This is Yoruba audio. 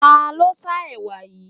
Ta ló sá ẹwà yìí?